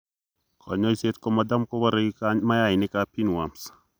Kanyoiseet komatam koboree mayainik ab pinworms